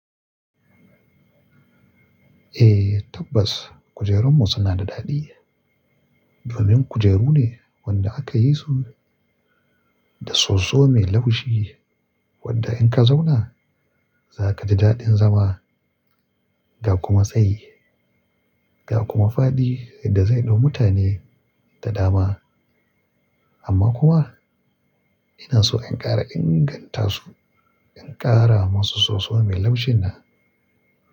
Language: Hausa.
Eh tabbas kujerunmu suna da daɗi domin kujeru ne wanda aka yi su da soso mai laushi wadda in ka zauna, za ka ji daɗin zama ga kuma tsayi ga kuma faɗi da zai ɗau mutane da dama. Amma kuma ina so in ƙara ingantasu, in ƙara masu soso mai laushin nan.